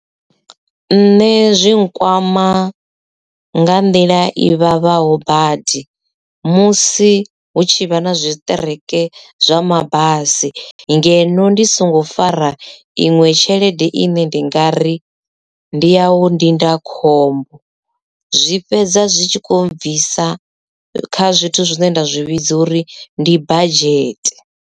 Nṋe zwi nkwama nga nḓila i vhavhaho badi musi hu tshi vha na zwi tshiṱereke zwa mabasi ngeno ndi songo fara iṅwe tshelede i ne ndi nga ri ndi yau ndindakhombo zwi fhedza zwi tshi kho bvisa kha zwithu zwine nda zwi vhidza uri ndi badzhete.